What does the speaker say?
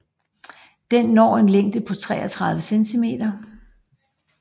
Den når en længde på 33 cm